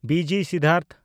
B G Siddhartha